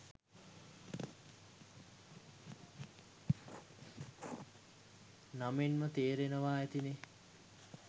නමෙන්ම තේරෙනවා ඇතිනේ